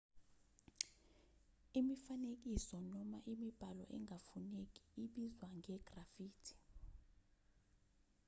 imifanekiso noma imibhalo engafuneki ibizwa nge-graffiti